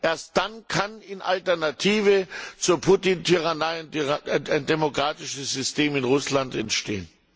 Erst dann kann in Alternative zur Putin Tyrannei ein demokratisches System in Russland entstehen.